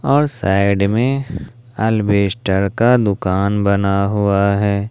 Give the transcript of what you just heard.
और साइड में अल्बेस्टर का दुकान बना हुआ है।